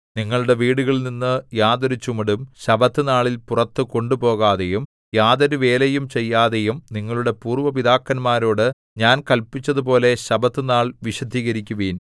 നിങ്ങളുടെ വീടുകളിൽനിന്ന് യാതൊരു ചുമടും ശബ്ബത്തുനാളിൽ പുറത്തു കൊണ്ടുപോകാതെയും യാതൊരുവേലയും ചെയ്യാതെയും നിങ്ങളുടെ പൂര്‍വ്വ പിതാക്കന്മാരോട് ഞാൻ കല്പിച്ചതുപോലെ ശബ്ബത്തുനാൾ വിശുദ്ധീകരിക്കുവിൻ